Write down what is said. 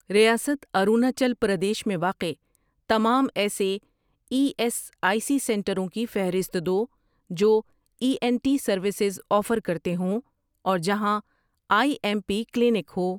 ریاست اروناچل پردیش میں واقع تمام ایسے ای ایس آئی سی سنٹروں کی فہرست دو جو E N T services offer کرتے ہوں اور جہاں I M P clinic who.